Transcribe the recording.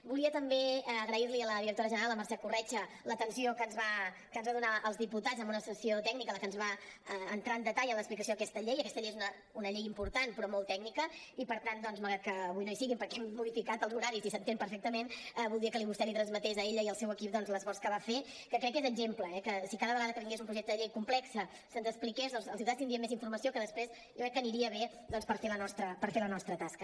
volia també agrair li a la directora general la mercè corretja l’atenció que ens va donar als diputats amb una sessió tècnica en la que ens va entrar en detall en l’explicació d’aquesta llei aquesta llei és una llei important però molt tècnica i per tant doncs malgrat que avui no hi sigui perquè hem modificat els horaris i s’entén perfectament voldria que vostè li transmetés a ella i al seu equip l’esforç que va fer que crec que és exemple eh que si cada vegada que vingués un projecte de llei complex se’ns expliqués els diputats tindríem més informació que després jo crec que aniria bé per fer la nostra tasca